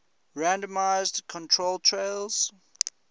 randomized controlled trials